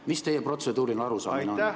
Mis teie protseduuriline arusaamine on?